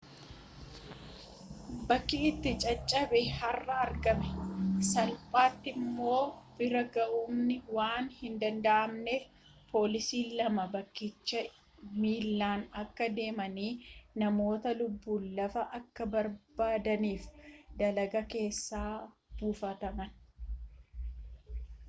bakki itti caccabe har'a argame salphaatti immoo bira ga'amuun waan hindanda'amneef poolisoonni lama bakkicha miillaan akka deemanii namoota lubbuun hafa akka barbaadaniif daggala keessa buufaman